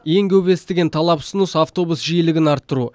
ең көп естіген талап ұсыныс автобус жиілігін арттыру